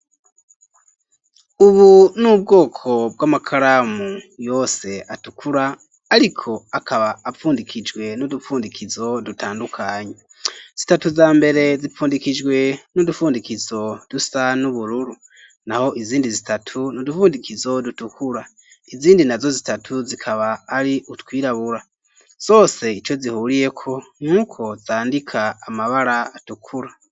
Ubu n'ubwoko bw'amakaramu yose atukura ariko akaba apfundikijwe n'udupfundikizo dutandukanye, zitatu za mbere zipfundikijwe n'udufundikizo dusa n'ubururu naho izindi zitatu n'udufundikizo dutukura izindi na zo zitatu zikaba ari utwirabura zose ico zihuriyeko n'uko zandika amabara atukura.